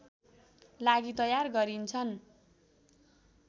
लागि तयार गरिन्छन्